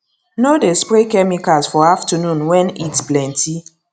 no dey spray chemicals for afternoon wen heat plenty